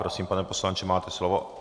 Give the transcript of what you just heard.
Prosím, pane poslanče, máte slovo.